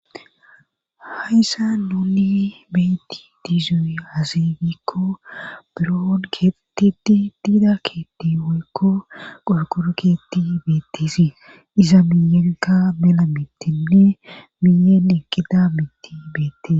hayssa nunni beetti diizoy azegikko biroon ketiti tiida keetti moykko qorkorakeetti beettisii iza miyaka mela mittinne miyeen ekkida mitti beette